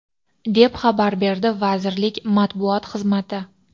deb xabar berdi vazirlik Matbuot xizmati.